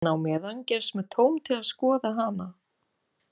En á meðan gefst mér tóm til að skoða hana.